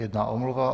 Jedna omluva.